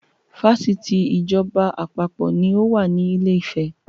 Fásitì ìjọba àpapọ̀ ni ó wà ní ilé ìfẹ́.